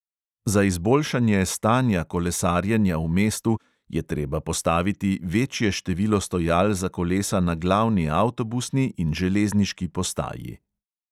Za izboljšanje stanja kolesarjenja v mestu je treba postaviti večje število stojal za kolesa na glavni avtobusni in železniški postaji.